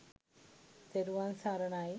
තෙරුවන් සරණයි